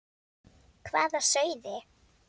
Hvað sáuði?